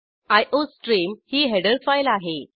iostream ही header file आहे